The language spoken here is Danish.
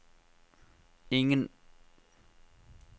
ingen